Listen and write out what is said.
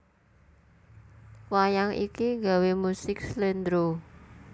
Wayang iki gawé musik Slendro